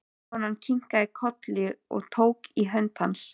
Konan kinkaði kolli og tók í hönd hans.